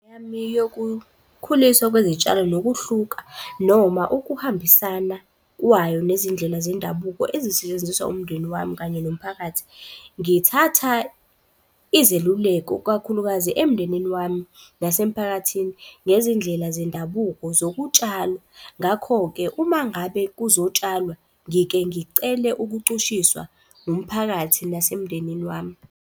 Yokukhuliswa kwezitshalo nokuhluka noma ukuhambisana kwayo nezindlela zendabuko ezisetshenziswa umndeni wami kanye nomphakathi. Ngithatha izeluleko kakhulukazi emndenini wami nasemphakathini ngezindlela zendabuko zokutshala. Ngakho-ke uma ngabe kuzotshalwa ngike ngicele ukucushiswa umphakathi nasemndenini wami.